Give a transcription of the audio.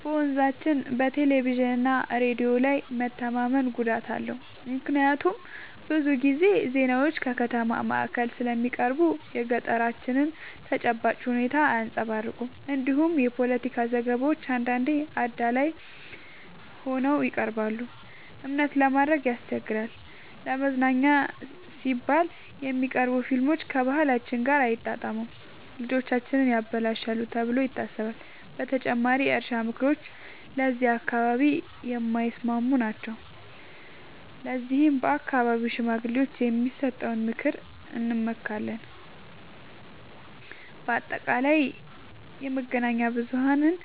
በመንዛችን በቴሌቪዥንና ሬዲዮ ላይ መተማመን ጉዳት አለው፤ ምክንያቱም ብዙ ጊዜ ዜናዎች ከከተማ ማዕከል ስለሚቀርቡ የገጠራችንን ተጨባጭ ሁኔታ አያንጸባርቁም። እንዲሁም የፖለቲካ ዘገባዎች አንዳንዴ አዳላይ ሆነው ይቀርባሉ፤ እምነት ለማድረግ ያስቸግራል። ለመዝናኛ ሲባል የሚቀርቡ ፊልሞች ከባህላችን ጋር አይጣጣሙም፣ ልጆቻችንን ያበላሻሉ ተብሎ ይታሰባል። በተጨማሪም የእርሻ ምክሮች ለዚህ አካባቢ የማይስማሙ ናቸው፤ ለዚህም በአካባቢው ሽማግሌዎች የሚሰጠውን ምክር እንመካለን። በአጠቃላይ የመገናኛ ብዙሀንን